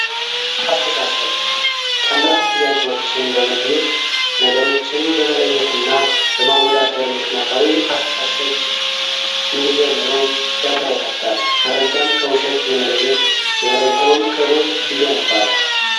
አስተሳሰብ ቀላል ጥያቄዎችን በመጠየቅ፣ ነገሮችን በመለየት እና በማወዳደር ምክነያታዊ አስተሳሰብ እንዲጀምሩ ያበረታታል። መረጃን ከውሸት የመለየት፣ የመረጃውን ክህሎት ይገነባል።